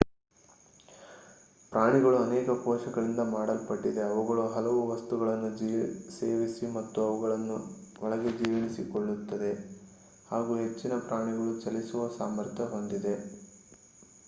ಪ್ರಾಣಿಗಳು ಅನೇಕ ಕೋಶಗಳಿಂದ ಮಾಡಲ್ಪಟ್ಟಿದೆ ಅವುಗಳು ಹಲವು ವಸ್ತುಗಳನ್ನು ಸೇವಿಸಿ ಮತ್ತು ಅವುಗಳನ್ನು ಒಳಗೆ ಜೀರ್ಣಿಸಿಕೊಳ್ಳುತ್ತದೆ ಹಾಗು ಹೆಚ್ಚಿನ ಪ್ರಾಣಿಗಳು ಚಲಿಸುವ ಸಾಮರ್ಥ್ಯ ಹೊಂದಿದೆ